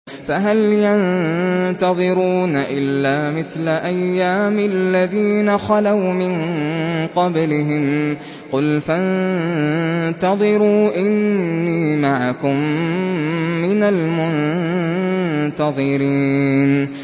فَهَلْ يَنتَظِرُونَ إِلَّا مِثْلَ أَيَّامِ الَّذِينَ خَلَوْا مِن قَبْلِهِمْ ۚ قُلْ فَانتَظِرُوا إِنِّي مَعَكُم مِّنَ الْمُنتَظِرِينَ